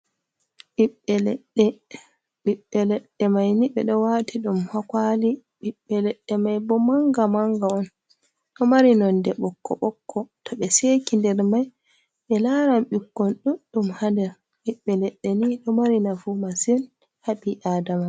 Ɓiɓiɓɓeleɗɗe, ɓiɓɓe leɗɗe mai ni ɓe ɗo wati ɗum hakwali ɓiɓɓe leɗɗe mai bo manga manga on ɗo mari nonde ɓokko ɓokko to ɓe seki nder mai ɓe laran ɓikkon ɗuɗɗum ha nder, ɓiɓɓe leɗɗe ni ɗo mari nafu masin haɓi aadama.